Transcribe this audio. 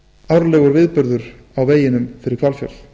árlegur viðburður á veginum fyrir hvalfjörð